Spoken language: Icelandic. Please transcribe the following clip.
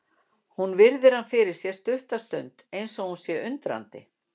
Hún virðir hann fyrir sér stutta stund eins og hún sé undrandi.